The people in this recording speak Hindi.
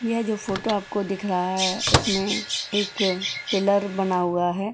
यह जो फोटो आपको दिख रहा है उसमें एक पिलर बना हुआ है।